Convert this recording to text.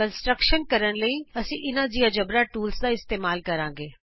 ਅਸੀਂ ਸੰਰਚਨਾ ਬਣਾਉਣ ਲਈ ਇਹਨਾਂ ਜਿਉਜੇਬਰਾ ਟੂਲਜ਼ ਦਾ ਇਸਤੇਮਾਲ ਕਰਾਂਗੇ